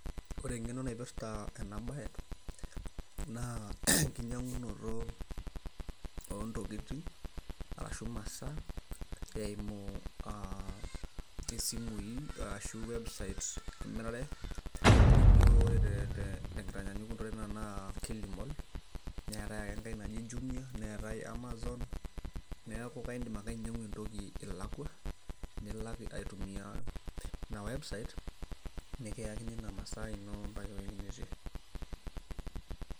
ore eng'eno naipirrta ena baye naa enkinyang'unoto oontokitin arashu imasaa eimu isimui arashu websites emirare nijo tenkitanyanyukoto ore tena kata ena naa kilimall neetay ake enkay naji jumia neetay amazon neeku kaindim ake ainyiang'u entoki ilakua nilak aitumia ina website nkiyakini ina masai ino mpaka ewueji nitii.